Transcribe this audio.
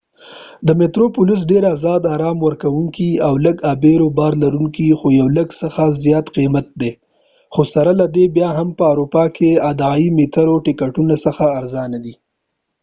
میترو پلس ډیر زیات آرام ورکوونکی او لږ ابیرو بار لرونکي خو یو لږ څه زیات قیمته دی خو سره له دې بیا هم په اروپا کې د عادي میترو د ټکټونو څخه ارزانه دی